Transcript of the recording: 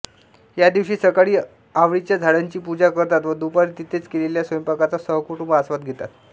या दिवशी सकाळी आवळीच्या झाडाची पूजा करतात व दुपारी तिथेच केलेल्या स्वयंपाकाचा सहकुटुंब आस्वाद घेतात